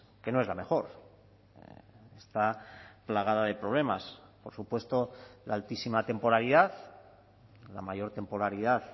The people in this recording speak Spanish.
que no es la mejor está plagada de problemas por supuesto la altísima temporalidad la mayor temporalidad